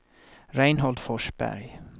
Reinhold Forsberg